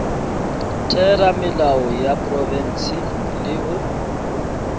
theramelao ya profense le go